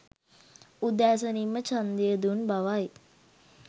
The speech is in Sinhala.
උදෑසනින්ම ඡන්දය දුන් බවයි